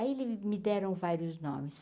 Aí eles me deram vários nomes.